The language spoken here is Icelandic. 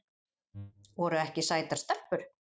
Voru ekki sætar stelpur?